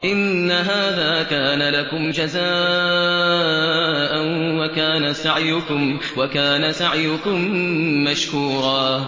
إِنَّ هَٰذَا كَانَ لَكُمْ جَزَاءً وَكَانَ سَعْيُكُم مَّشْكُورًا